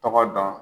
Tɔgɔ dɔn